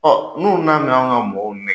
n'u nana anw ka mɔgɔw